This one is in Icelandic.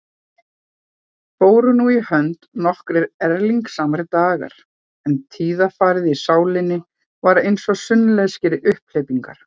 Fóru nú í hönd nokkrir erilsamir dagar, en tíðarfarið í sálinni var einsog sunnlenskir umhleypingar.